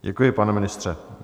Děkuji, pane ministře.